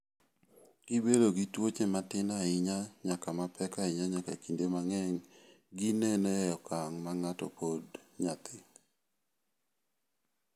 Gibedo gi tuoche matin ahinya nyaka mapek ahinya nyaka kinde mang�eny gineno e okang' ma pod ng'ato nyathi.